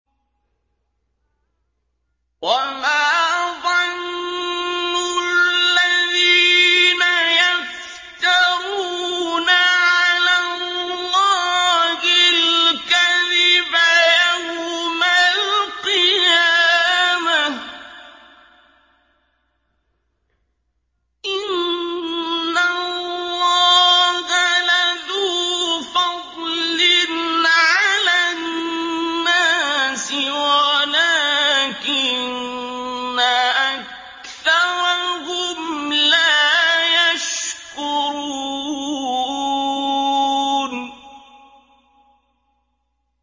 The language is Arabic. وَمَا ظَنُّ الَّذِينَ يَفْتَرُونَ عَلَى اللَّهِ الْكَذِبَ يَوْمَ الْقِيَامَةِ ۗ إِنَّ اللَّهَ لَذُو فَضْلٍ عَلَى النَّاسِ وَلَٰكِنَّ أَكْثَرَهُمْ لَا يَشْكُرُونَ